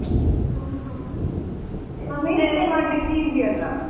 ಹ ಹ maintain ಮಾಡ್ಲಿಕ್ಕೆ easy ಅಲ್ಲ.